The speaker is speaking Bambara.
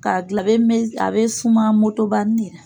K'a dila a be me s a be suma motobanin de la